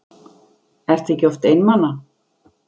Ertu ekki oft einmana?